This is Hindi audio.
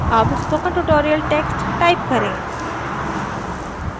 अब spoken tutorial text type करें